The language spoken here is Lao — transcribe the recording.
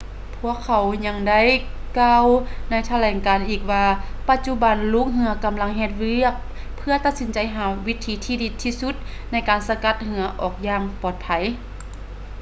ພວກເຂົາຍັງໄດ້ກ່າວໃນຖະແຫຼງການອີກວ່າ ປະຈຸບັນລູກເຮືອກຳລັງເຮັດວຽກເພື່ອຕັດສິນໃຈຫາວິທີທີ່ດີທີ່ສຸດໃນການສະກັດເຮືອອອກຢ່າງປອດໄພ